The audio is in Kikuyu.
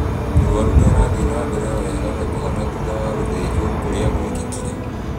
Mũrwaru nĩarathiĩ na mbere o wega na kũhona thutha wa gũthĩnjwo kũrĩa gwekĩkire